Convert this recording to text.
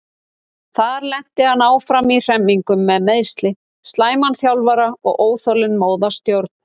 Þar lenti hann áfram í hremmingum með meiðsli, slæman þjálfara og óþolinmóða stjórn.